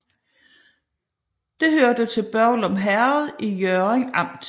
Det hørte til Børglum Herred i Hjørring Amt